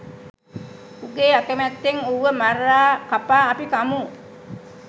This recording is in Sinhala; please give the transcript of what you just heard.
උගේ අකමැත්තෙන් ඌව මරා කපා අපි කමු.